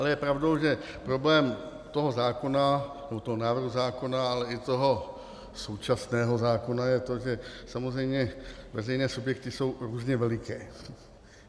Ale je pravdou, že problém toho zákona, tohoto návrhu zákona, ale i toho současného zákona je to, že samozřejmě veřejné subjekty jsou různě veliké.